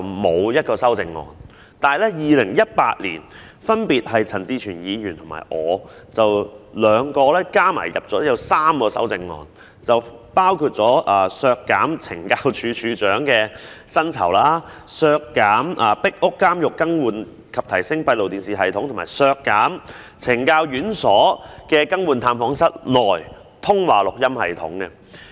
可是，在2018年，陳志全議員和我分別提出了3項修正案，包括要求削減懲教署署長的薪酬、削減壁屋監獄更換及提升閉路電視系統的撥款，以及削減懲教院所更換探訪室內的通話錄音系統的撥款。